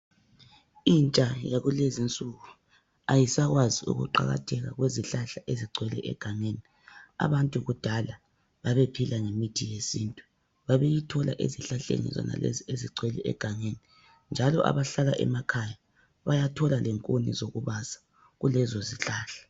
Itsha yakulezinsuku ayisakwazi ukuqakatheka kwezihlahla ezigcwele egangeni abantu kudala babephila ngemithi yesintu njalo abahla emakhaya bayathola lenkuni zokubasa kulezo zihlahla.